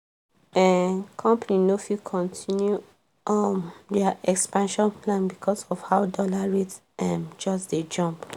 um company no fit continue um their expansion plan because of how dollar rate um just dey jump.